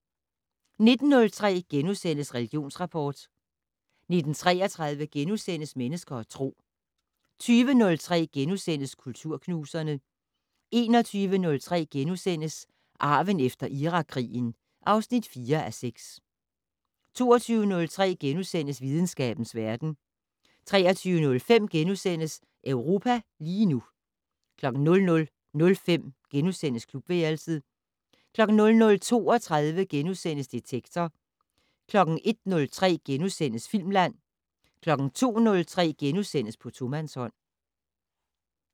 19:03: Religionsrapport * 19:33: Mennesker og Tro * 20:03: Kulturknuserne * 21:03: Arven efter Irakkrigen (4:6)* 22:03: Videnskabens verden * 23:05: Europa lige nu * 00:05: Klubværelset * 00:32: Detektor * 01:03: Filmland * 02:03: På tomandshånd *